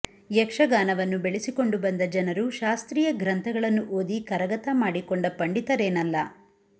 ಯಕ್ಷಗಾನವನ್ನು ಬೆಳೆಸಿಕೊಂಡು ಬಂದ ಜನರು ಶಾಸ್ತ್ರೀಯ ಗ್ರಂಥಗಳನ್ನು ಓದಿ ಕರಗತ ಮಾಡಿಕೊಂಡ ಪಂಡಿತರೇನಲ್ಲ